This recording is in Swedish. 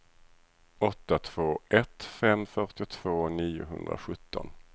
åtta två ett fem fyrtiotvå niohundrasjutton